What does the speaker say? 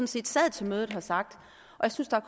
set sad til mødet har sagt og jeg synes der